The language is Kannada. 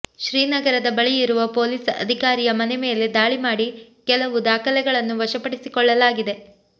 ಶ್ರೀನಗರದ ಬಳಿಯಿರುವ ಪೊಲೀಸ್ ಅಧಿಕಾರಿಯ ಮನೆ ಮೇಲೆ ದಾಳಿ ಮಾಡಿ ಕೆಲವು ದಾಖಲೆಗಳನ್ನು ವಶಪಡಿಸಿಕೊಳ್ಳಲಾಗಿದೆ